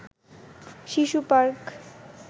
শিশু পার্ক